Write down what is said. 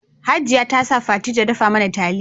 Hajia ta sa Fati ta dafa mana taliya